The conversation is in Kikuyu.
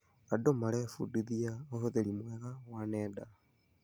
Andũ marebundithia ũhũthĩri mwega wa nenda.